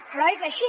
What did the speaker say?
però és així